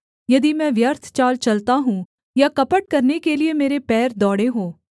यदि मैं व्यर्थ चाल चलता हूँ या कपट करने के लिये मेरे पैर दौड़े हों